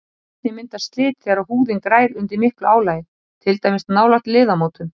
Einnig myndast slit þegar húðin grær undir miklu álagi, til dæmis nálægt liðamótum.